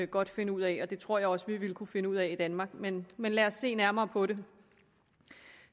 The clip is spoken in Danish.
godt finde ud af og det tror jeg også vi ville kunne finde ud af i danmark men men lad os se nærmere på det